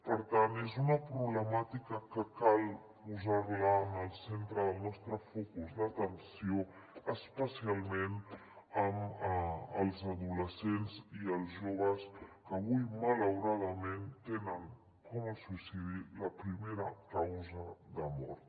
per tant és una problemàtica que cal posar la en el centre del nostre focus d’atenció especialment amb els adolescents i els joves que avui malauradament tenen el suïcidi com a primera causa de mort